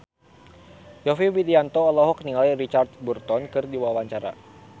Yovie Widianto olohok ningali Richard Burton keur diwawancara